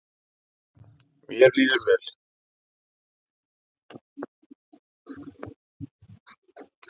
Mér líður vel